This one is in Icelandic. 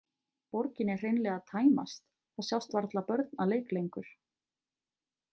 Borgin er hreinlega að tæmast, það sjást varla börn að leik lengur.